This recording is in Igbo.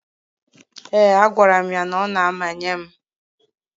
Ee, agwara m ya na ọ na-emanye m.